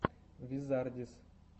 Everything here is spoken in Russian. визардис